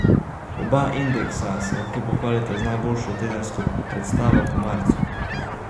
Oba indeksa se lahko pohvalita z najboljšo tedensko predstavo po marcu.